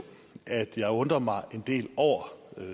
at jeg undrer mig en del over